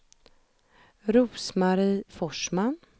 Rose-Marie Forsman